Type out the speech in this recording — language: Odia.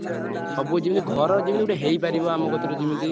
ଉଁ ସବୁ ଯେମିତି ଘର ଯେମିତି ଗୋଟେ ହେଇପାରିବ ଆମ କତିରେ ଯେମିତି।